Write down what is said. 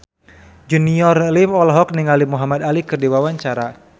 Junior Liem olohok ningali Muhamad Ali keur diwawancara